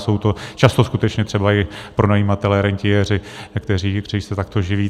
Jsou to často skutečně třeba i pronajímatelé, rentiéři, kteří se takto živí.